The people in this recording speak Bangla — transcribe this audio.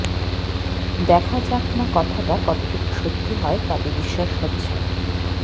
দেখা যাক না কথাটা কতটুকু সত্যি হয় তবে বিশ্বাস হচ্ছে না